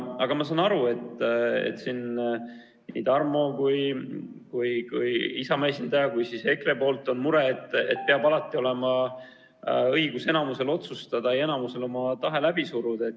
Aga ma saan aru, et nii Tarmol kui Isamaa esindajal kui ka EKRE-l on mure, et alati peab enamusel olema õigus otsustada, oma tahe läbi suruda.